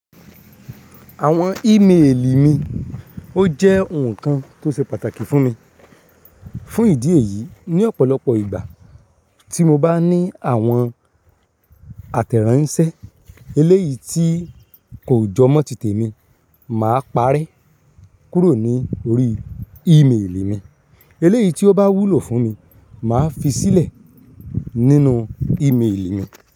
Àwọn ímeèlì mi ó jẹ́ ohun kan tó ṣe pàtàkì fún mi. Fún ìdí èyí, ní ọ̀pọ̀lọpọ̀ ìgbà tí mo bá ní àwọn àtẹ̀ránsẹ́, eléyìí tí kò jọmọ́ tìtẹ̀ mi, màá parẹ kúrò ní orí ímeèlì mi. Eléyìí tí ó bá wúlò fún mi, màá fi sílẹ̀ nínú ímeèlì mi.